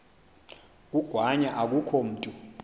kangwanya akukho mntu